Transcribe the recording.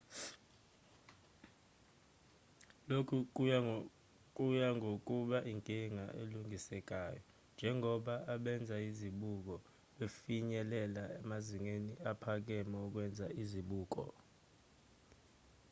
lokhu kuya ngokuba inkinga elungisekayo njengoba abenza izibuko befinyelela amazinga aphakeme okwenza izibuko